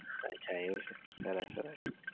અચ્છા એવું છે સરસ સરસ.